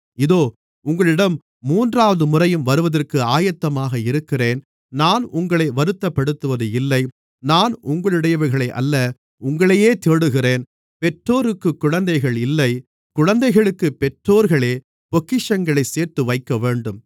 இதோ உங்களிடம் மூன்றாவது முறையும் வருவதற்கு ஆயத்தமாக இருக்கிறேன் நான் உங்களை வருத்தப்படுத்துவது இல்லை நான் உங்களுடையவைகளை அல்ல உங்களையே தேடுகிறேன் பெற்றோருக்குக் குழந்தைகள் இல்லை குழந்தைகளுக்குப் பெற்றோர்களே பொக்கிஷங்களைச் சேர்த்துவைக்கவேண்டும்